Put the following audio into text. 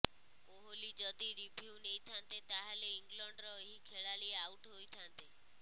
କୋହଲି ଯଦି ରିଭ୍ୟୁ ନେଇଥାନ୍ତେ ତାହେଲେ ଇଂଲଣ୍ଡର ଏହି ଖେଳାଳି ଆଉଟ ହୋଇଥାନ୍ତେ